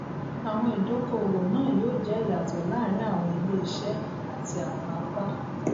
awọn idokoowo naa yoo jẹ iyatọ laarin awọn ileiṣẹ ati awọn apa